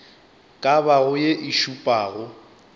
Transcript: ka bago ye e šupago